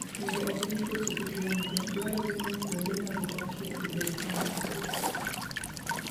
Mondo ogeng' tuoche kik landre, dwarore ni kuonde ma gidakie obed kama otwo.